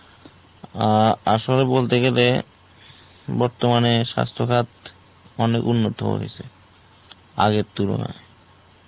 অ্যাঁ আসলে বলতে গেলে বর্তমানে স্বাস্থ্য খাত অনেক উন্নত হয়েছে আগের তুলনায়.